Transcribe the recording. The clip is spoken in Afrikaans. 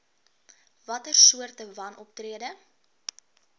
watter soorte wanoptrede